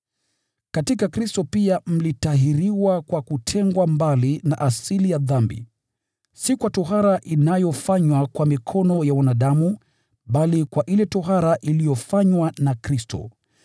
Katika Kristo pia mlitahiriwa kwa kutengwa mbali na asili ya dhambi, si kwa tohara inayofanywa kwa mikono ya wanadamu, bali kwa ile tohara iliyofanywa na Kristo,